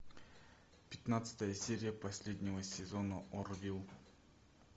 пятнадцатая серия последнего сезона орвилл